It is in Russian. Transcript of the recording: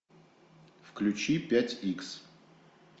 включи пять икс